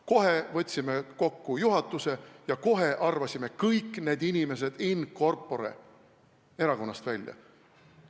Kohe võtsime juhatuse kokku ja kohe arvasime kõik need inimesed in corpore erakonnast välja.